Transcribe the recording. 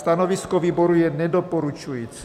Stanovisko výboru je nedoporučující.